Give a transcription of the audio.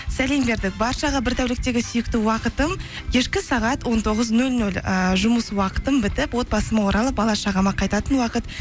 сәлем бердік баршаға бір тәуліктегі сүйікті уақытым кешкі сағат он тоғыз нөл нөл ііі жұмыс уақытым бітіп отбасыма оралып бала шағама қайтатын уақыт